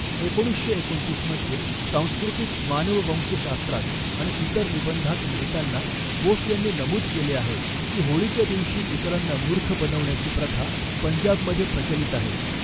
एकोणीसशे एकोणतीस मध्ये सांस्कृतिक मानववंशशास्त्रात आणि इतर निबंधांत लिहिताना बोस यांनी नमूद केले आहे की, होळीच्या दिवशी इतरांना मूर्ख बनवण्याची प्रथा पंजाबमध्ये प्रचलित आहे.